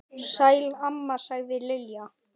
Sæl mamma sagði Lilla.